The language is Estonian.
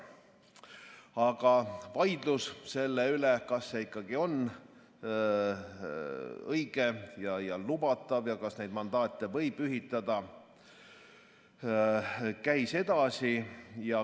Aga vaidlus selle üle, kas see ikkagi on õige ja lubatav ja kas neid mandaate võib ühitada, käis edasi.